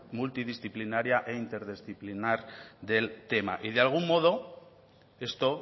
multidisciplinaria e interdisciplinar del tema y de algún modo esto